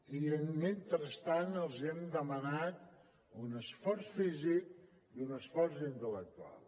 i mentrestant els hem demanat un esforç físic i un esforç intel·lectual